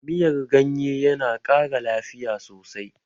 Miyar ganye yana ƙara lafiya sosai